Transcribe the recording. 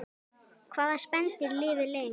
Hvaða spendýr lifir lengst?